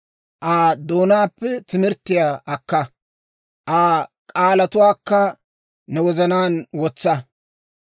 Aa doonaappe timirttiyaa akka; Aa k'aalatuwaakka ne wozanaan wotsa.